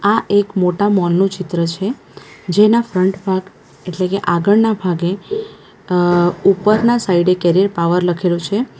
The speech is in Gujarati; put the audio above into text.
આ એક મોટા મૉલ નું ચિત્ર છે જેના ફ્રન્ટ ભાગ એટલે કે આગળના ભાગે અ ઉપરના સાઈડે કેરિયર પાવર લખેલું છે.